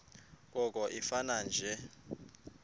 koko ifane nje